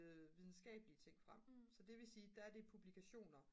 videnskabelige ting frem så det vil sige der er det publikationer